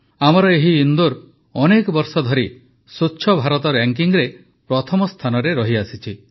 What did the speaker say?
ଆମର ଏହି ଇନ୍ଦୋର ଅନେକ ବର୍ଷ ଧରି ସ୍ୱଚ୍ଛ ଭାରତ ରାଙ୍କିଙ୍ଗ୍ରେ ପ୍ରଥମ ସ୍ଥାନରେ ରହିଆସିଛି